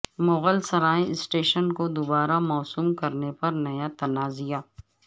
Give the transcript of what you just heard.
Mughal Sarai station کو دوبارہ موسوم کرنے پر نیا تنازعہ